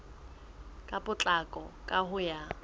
ka potlako ka ho ya